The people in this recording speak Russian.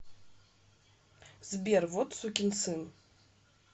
сбер вот сукин сын